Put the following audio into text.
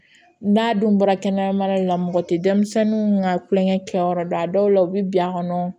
N'a dun bɔra kɛnɛyamara la mɔgɔ tɛ denmisɛnninw ka kulonkɛ kɛ yɔrɔ don a dɔw la u bɛ bin a kɔnɔ